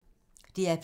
DR P2